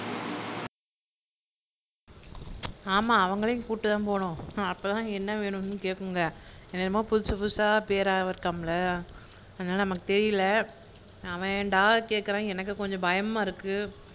ஆமா அவங்களையும் கூட்டிட்டு தான் போணும் அப்போ தான் என்ன வேணும்னு கேக்குங்க என்னவோ புதுசு புதுசா பேரா இருக்காமுல்ல அதனால நமக்கு தெரியல அவன் டாக் கேக்குறான் எனக்கு கொஞ்சம் பயமா இருக்கு